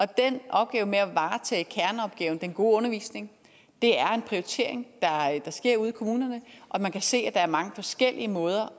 den opgave med at varetage kerneopgaven den gode undervisning er en prioritering der sker ude i kommunerne og man kan se er mange forskellige måder